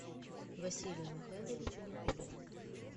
василию михайловичу никулину